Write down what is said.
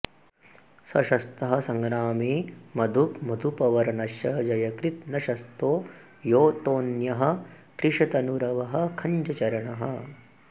स शस्तः सङ्ग्रामे मधुग्मधुपवर्णश्च जयकृद् न शस्तो योऽतोऽन्यः कृशतनुरवः खञ्जचरणः